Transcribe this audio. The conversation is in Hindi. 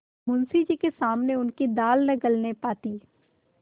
मुंशी जी के सामने उनकी दाल न गलने पाती